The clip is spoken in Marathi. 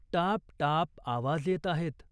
टापटाप आवाज येत आहेत.